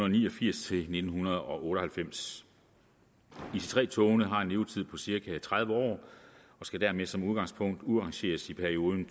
ni og firs til nitten otte og halvfems ic3 togene har en levetid på cirka tredive år og skal dermed som udgangspunkt udrangeres i perioden